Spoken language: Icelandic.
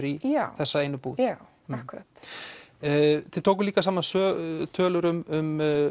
í þessa búð já akkúrat þið tókuð líka saman tölur um